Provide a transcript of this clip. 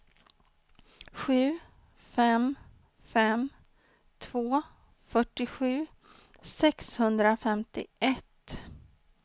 sju fem fem två fyrtiosju sexhundrafemtioett